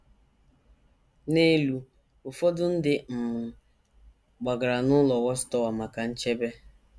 N’elu: Ụfọdụ ndị um gbagara n’ụlọ Watchtower maka nchebe